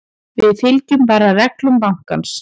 Við fylgjum bara reglum bankans.